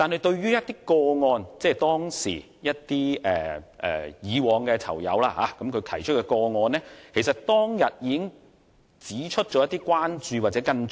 對於一些昔日囚友提出的個案，其實議員當天已提出一些關注及跟進。